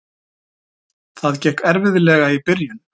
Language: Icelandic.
Það gekk erfiðlega í byrjun.